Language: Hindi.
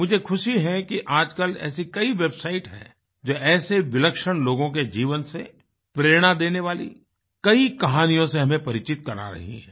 मुझे ख़ुशी है कि आजकल ऐसी कई वेबसाइट हैंजो ऐसे विलक्षण लोगों के जीवन से प्रेरणा देने वाली कई कहानियों से हमें परिचित करा रही है